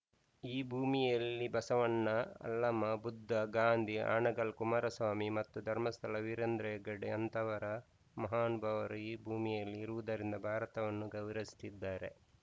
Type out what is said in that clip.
ಈ ಭೂಮಿಯಲ್ಲಿ ಬಸವಣ್ಣ ಅಲ್ಲಮ ಬುದ್ಧ ಗಾಂಧಿ ಹಾನಗಲ್‌ ಕುಮಾರಸ್ವಾಮಿಗಳು ಮತ್ತು ಧರ್ಮಸ್ಥಳ ವೀರೇಂದ್ರ ಹೆಗ್ಗಡೆ ಅಂತವರ ಮಹಾನುಭಾವರು ಈ ಭೂಮಿಯಲ್ಲಿ ಇರುವುದರಿಂದ ಭಾರತವನ್ನು ಗೌರವಿಸುತ್ತಿದ್ದಾರೆ